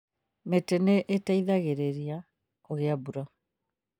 Mĩtĩ nĩ ĩteithagĩrĩria kũgĩa mbura